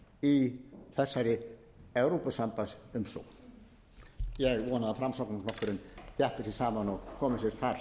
í þessari evrópusambandsumsókn ég vona að framsóknarflokkurinn þjappi sér saman og komi sér þar